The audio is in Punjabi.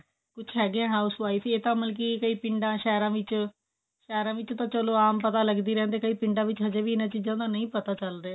ਕੁੱਛ ਹੈਗੇ housewife ਹੀ ਇਹ ਤਾਂ ਬਲਕਿ ਪੀਂਦਾ ਸ਼ਹਿਰਾਂ ਵਿੱਚ ਸ਼ਹਿਰਾਂ ਵਿੱਚੋ ਤਾ ਚੱਲੋ ਆਮ ਪਤਾ ਲਗਦੀ ਰਹਿੰਦੀ ਕਈ ਪਿੰਡਾ ਵਿੱਚ ਹਜੇ ਵੀ ਇਹਨਾਂ ਚੀਜਾਂ ਦਾ ਨਹੀਂ ਪਤਾ ਚਲ ਰਿਹਾ